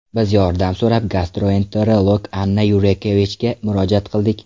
Biz yordam so‘rab gastroenterolog Anna Yurkevichga murojaat qildik.